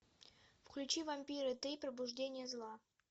включи вампиры три пробуждение зла